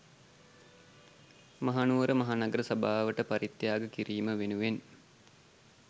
මහනුවර මහනගර සභාවට පරිත්‍යාග කිරීම වෙනුවෙන්